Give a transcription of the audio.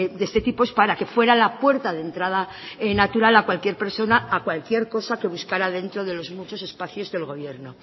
de este tipo es para que fuera la puerta de entrada natural a cualquier persona a cualquier cosa que buscara dentro de los muchos espacios del gobierno